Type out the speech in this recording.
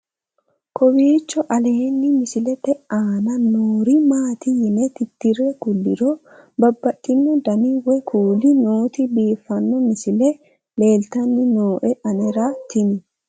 kowiicho aleenni misilete aana noori maati yine titire kulliro babaxino dani woy kuuli nooti biiffanno misile leeltanni nooe anera tino